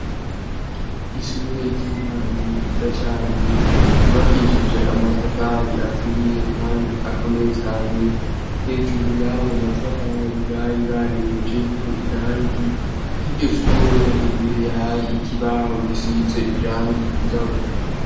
Ishure ry'intango riza cane, ryubakishije amatafari aturiye kandi akomeye cane, hejuru y'ayo matafari bari barengeje ko irangi, kur'iryo shure imbere hari ikibaho gisize irangi ryirabura.